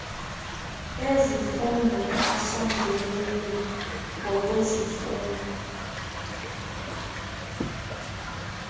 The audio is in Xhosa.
ezifundo asondeleyo ngokwezifundo